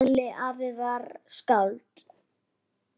Halli afi var skáld.